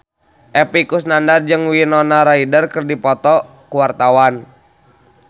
Epy Kusnandar jeung Winona Ryder keur dipoto ku wartawan